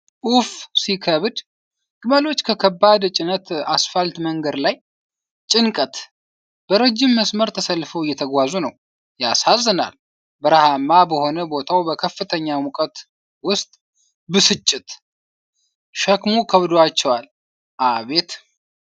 ኡፍ ሲከብድ! ግመሎች በከባድ ጭነት አስፋልት መንገድ ላይ። ጭንቀት! በረጅም መስመር ተሰልፈው እየተጓዙ ነው። ያሳዝናል! በረሃማ በሆነ ቦታ በከፍተኛ ሙቀት ውስጥ። ብስጭት! ሸክሙ ከብዶባቸዋል። አቤት!